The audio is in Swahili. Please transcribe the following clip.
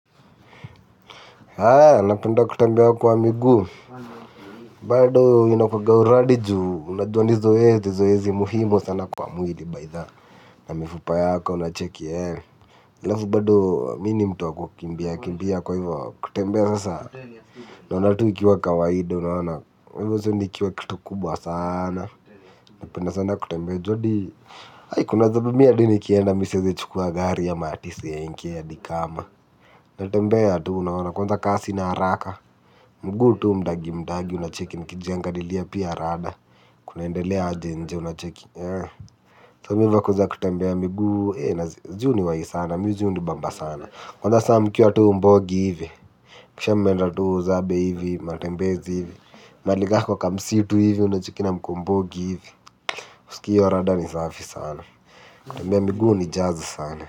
Anapenda kutembea kwa miguu, bado ninakuanga uradi juu, unajua ni zoezi muhimu sana kwa mwili bytha, na mifupa yako unachecki ee, alafu bado mi ni mtu wa kukimbia, kimbia kwa hivyo, kutembea sasa, naona tuu ikiwa kawaida, unaona, uaona sa, nikiwa kitu kubwa sana, napenda sana kutembea, ju hadi, hai kuna zabe mi adi nikienda mi siezi chukua gari ama ati senke, hadi kama, natembea ya tuu, unaona kwanza ka sina haraka, mguu tu mdagi mdagi unacheki nikijangaililia pia rada. Kunaendelea aje nje unacheki So mi hu vako za kutembea miguu ju huniwahi sana, mi ju hunibamba sana kwanza saa mkiwa tu mbogi hivi. Kisha mmeenda tu zabe hivi, matembezi hivi. Mahali ka kwa kamsitu hivi unacheki na mbogi hivi huskii hiyo rada ni safi sana. Kutembea miguu hunijaza sana.